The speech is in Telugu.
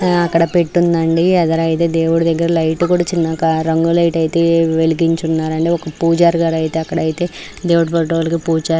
అక్కడ పెట్టుంది అండి అక్కడ దేవుడు దెగ్గర లైట్ చిన్నగా రంగు లైట్లయితే వెలిగి ఉన్న రండి. ఒక పూజారి గారు అయితే అక్కడ అయితే దేవుడు ఫొటోలకి పూజా --